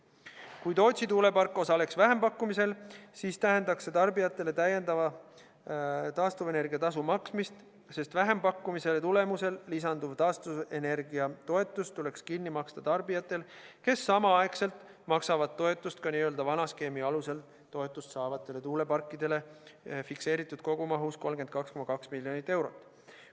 Kui Tootsi tuulepark osaleks vähempakkumisel, siis tähendaks see tarbijatele taastuvenergia tasu lisaks maksmist, sest vähempakkumise korral lisanduv taastuvenergia toetus tuleks kinni maksta tarbijatel, kes samal ajal maksavad toetust ka n-ö vana skeemi alusel toetust saavatele tuuleparkidele fikseeritud kogumahus 32,2 miljonit eurot.